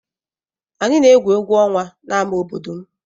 Anyị na-egwu egwu ọnwa n'ámá obodo m.